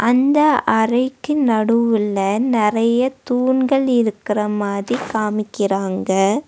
அந்த அறைக்கு நடுவுல நெறைய தூண்கள் இருக்கற மாதிரி காமிக்கிறாங்க.